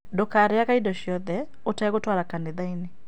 Ndũkarĩage indo ciothe ũtegũtwara kanitha-inĩ